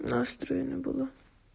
настроение было